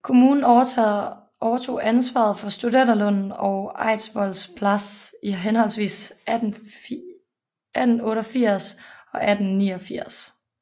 Kommunen overtog ansvaret for Studenterlunden og Eidsvolls plass i henholdsvis 1888 og 1889